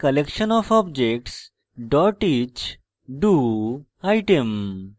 a collection of objects dot each do item